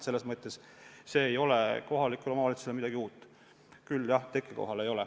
Selles mõttes see ei ole siin kohalikule omavalitsusele midagi uut.